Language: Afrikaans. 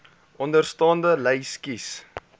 onderstaande lys kies